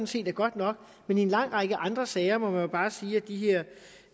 set er godt nok men i en lang række andre sager må man jo bare sige at de her